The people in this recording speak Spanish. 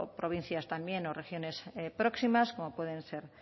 provincias también o regiones próximas como pueden ser